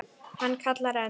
Hann kallar enn.